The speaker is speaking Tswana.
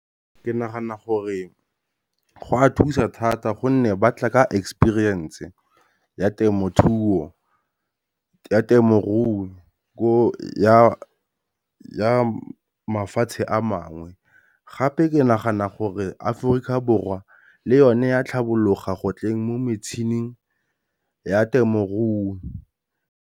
Ke nagana gore go a thusa thata gonne ba tla ka experience-e ya temothuo, ya temorui ya mafatshe a mangwe. Gape ke nagana gore Aforika Borwa le yone a tlhabologo gotleng mo metšhineng ya temorui.